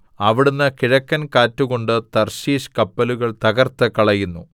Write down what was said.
അവിടുന്ന് കിഴക്കൻ കാറ്റുകൊണ്ട് തർശീശ് കപ്പലുകൾ തകർത്ത് കളയുന്നു